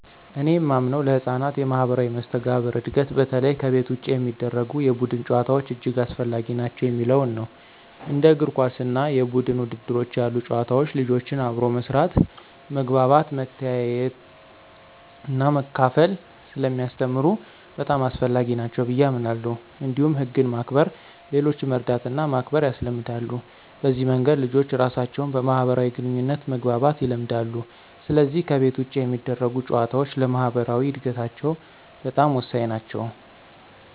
እኔ የማምነው ለሕፃናት የማኅበራዊ መስተጋብር እድገት በተለይ ከቤት ውጭ የሚደረጉ የቡድን ጨዋታዎች እጅግ አስፈላጊ ናቸው የሚለው ነው። እንደ እግር ኳስ እና የቡድን ውድድሮች ያሉ ጨዋታዎች ልጆችን አብሮ መስራት፣ መግባባት፣ መተያየትና መካፈል ስለሚያስተምሩ በጣም አስፈላጊ ናቸው ብየ አምናለሁ። እንዲሁም ህግን ማክበር፣ ሌሎችን መርዳትና ማክበር ያስለምዳሉ። በዚህ መንገድ ልጆች ራሳቸውን በማህበራዊ ግንኙነት መግባባት ይለምዳሉ፣ ስለዚህ ከቤት ውጭ የሚደረጉ ጨዋታዎች ለማኅበራዊ እድገታቸው በጣም ወሳኝ ናቸው።